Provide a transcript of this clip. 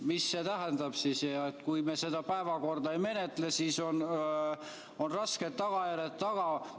Mis see tähendab, et kui me seda päevakorda ei menetle, siis on rasked tagajärjed taga?